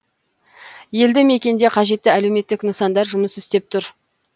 елді мекенде қажетті әлеуметтік нысандар жұмыс істеп тұр